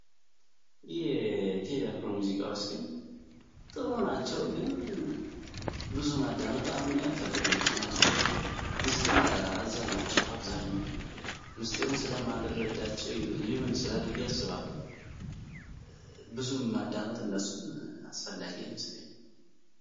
ይህ ቴደፍሩ ሙዚቃዎች ግን ጥሩ ናቸው ግን ብዙ ማዳመጥ አሁንን ያልፈልግ ምክንያቱም ሆን ምስጢሩን አዘል ናቸው አብዛሃኘው ምስጢሩን ስለማለረዳቸው ሊሁን ይችራል ብያስባለ ብዙም ማዳመጥ እንደሱን አስፈላጊ አይመስለኝም።